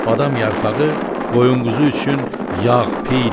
Badam yarpağı qoyun-quzu üçün yağ-piydir.